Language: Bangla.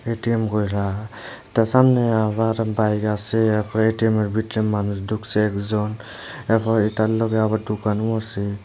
এ_টি_এম তার সামনে আবার বাইক আসে তারপরে এটিএমের ভিতরে মানুষ ঢুকসে একজন এখন এইটার লগে আবার ঢুকানো আসে।